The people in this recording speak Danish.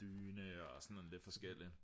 dyne og sådan lidt forskelligt